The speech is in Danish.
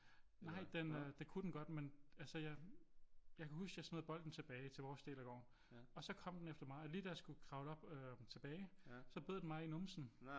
Nej den øh det kunne den godt men altså jeg jeg kan huske jeg smider bolden tilbage til vores del af gården og så kom den efter mig og lige da jeg skulle kravle op tilbage så bed den mig i numsen